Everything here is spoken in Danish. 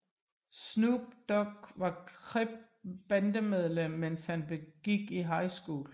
Snoop Dogg var Crip bandemedlem mens han gik i high school